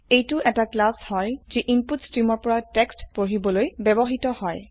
এইটো এটা ক্লাস হয় যি ইনপুট স্ট্ৰিমৰ পৰা টেক্সট পঢ়িবলৈ ব্যবহৃত হয়